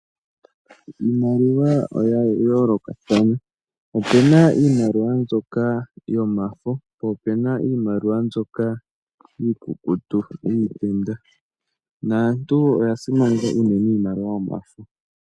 Iimaliwa oya yoolokathana. Opu na iimaliwa mbyoka yomafo, po opu na iimaliwa mbyoka iikukutu yiitenda, naantu oya simaneka unene iimaliwa yomafo.